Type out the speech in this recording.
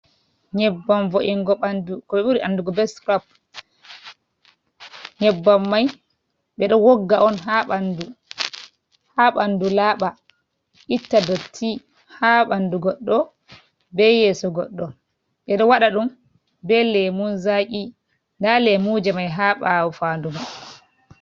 Nyebbam vo'ingo ɓandu, ko ɓe ɓuri andurgo be scrap. Nyebbam mai be ɗo wogga on ha ɓandu, ha ɓandu laaɓa, itta dotti ha ɓandu goɗɗo, be yeso goɗɗo. Ɓe ɗo waɗa ɗum be lemun zaki. Nda lemuje mai ha ɓaawo fandu mai.